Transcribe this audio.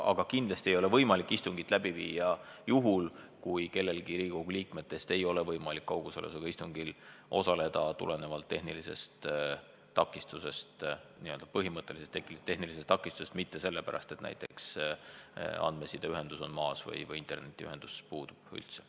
Aga kindlasti ei ole võimalik istungit läbi viia, kui kellelgi Riigikogu liikmetest ei ole võimalik kaugosalusega istungil osaleda tehnilise takistuse tõttu – ma pean silmas põhimõttelist tehnilist takistust, mitte näiteks seda, et andmesideühendus on maas või internetiühendus puudub üldse.